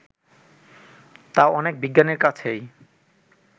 তা অনেক বিজ্ঞানীর কাছেই